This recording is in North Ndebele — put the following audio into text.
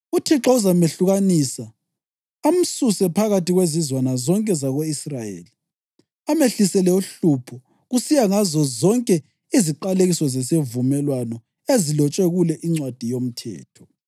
UThixo uzamehlukanisa amsuse phakathi kwezizwana zonke zako-Israyeli amehlisele uhlupho, kusiya ngazozonke iziqalekiso zesivumelwano ezilotshwe kule iNcwadi yoMthetho.